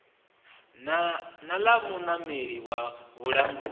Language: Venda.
na ḽa muimeleli wa vhulanguli